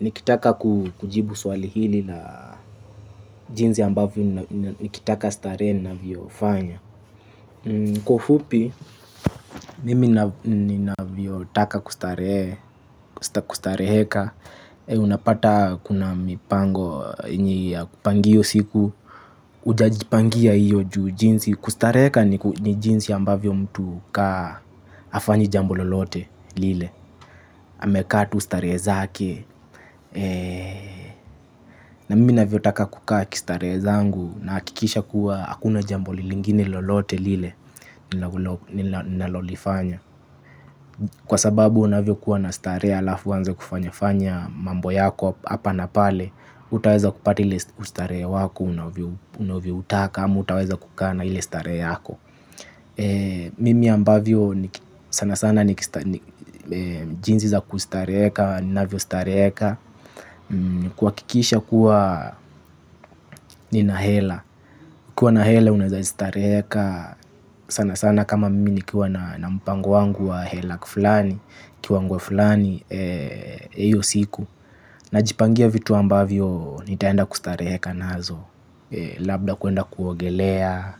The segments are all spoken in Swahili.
Nikitaka kujibu swali hili na jinsi ambavyo nikitaka starehe navyofanya. Kwa ufupi, mimi ninavyotaka kustarehe, kustareheka. Unapata kuna mipango yenye kupangia hio siku. Utajipangia hiyo juu jinsi, kustareheka ni jinsi ambavyo mtu kaa hafanyi jambo lolote lile, amekaa tu starehe zake. Na mimi navyotaka kukaa kistarehe zangu nahakikisha kuwa hakuna jambo lingine lolote lile ninalolifanya. Kwa sababu unavyokuwa na starehe alafu uanze kufanya fanya mambo yako hapa na pale hutaweza kupati ile ustarehe wako unavyoutaka ama hautaweza kukaa na ile starehe yako. Mimi ambavyo sana sana jinsi za kustareheka, navyostareheka ni kuhakikisha kuwa nina hela ukiwa na hela unaeza stareheka. Sana sana kama mimi nikiwa na mpango wangu wa hela fulani kiwango fulani hiyo siku. Najipangia vitu ambavyo nitaenda kustareheka nazo. Labda kuenda kuogelea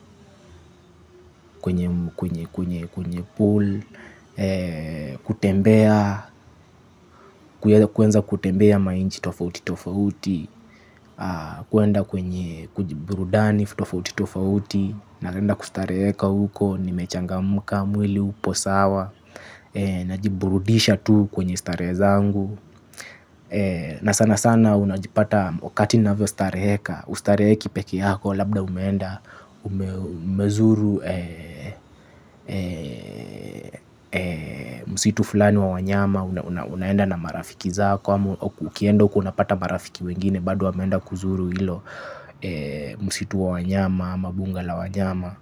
kwenye pool. Kutembea. Kueza kutembea manchi tofauti tofauti. Kuenda kwenye burudani tofauti tofauti. Naenda kustareheka huko. Nimechangamka mwili upo sawa. Najiburudisha tu kwenye starehe zangu. Na sana sana unajipata wakati navyostareheka hustareheki peke yako labda umeenda. Umezuru msitu fulani wa wanyama. Unaenda na marafiki zako. Ukienda huko unapata marafiki wengine. Bado wameenda kuzuru hilo msitu wa wanyama, ama bunga la wanyama,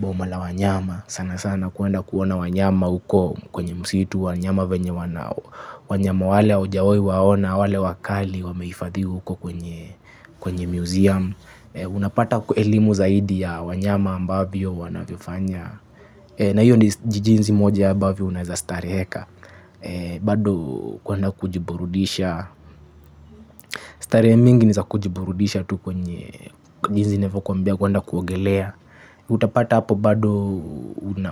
boma la wanyama. Sana sana kuenda kuona wanyama huko kwenye msitu wanyama venye wana wanyama wale haujawahi waona, wale wakali wamehifadhi huko kwenye museum. Unapata elimu zaidi ya wanyama ambavyo wanavyofanya. Na hiyo ni jinsi moja ambavyo unaeza stareheka. Bado kuenda kujiburudisha. Starehe mingi ni za kujiburudisha tu kwenye jinsi navyokuambia kuenda kuogelea. Utapata hapo bado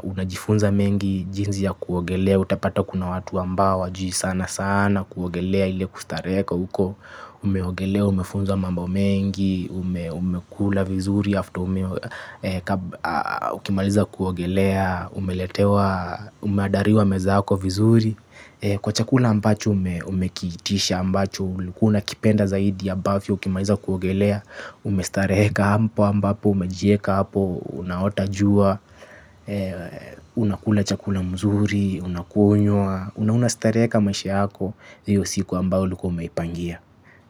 unajifunza mengi jinsi ya kuogelea. Utapata kuna watu ambao hawajui sana sana kuogelea ile kustareheka huko. Umeogelea, umefunza mambo mengi, umekula vizuri After ukimaliza kuogelea, umeandaliwa meza yako vizuri. Kwa chakula ambacho umekiitisha ambacho, ulikuwa unakipenda zaidi ambavyo ukimaliza kuogelea, umestareheka ambapo umejieka hapo, unaota jua, unakula chakula mzuri, unakunywa, unastareheka maisha yako, hiyo siku ambayo ulikua umeipangia.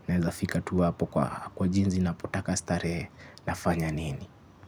Naeza fika tu hapo kwa jinsi napotaka starehe nafanya nini.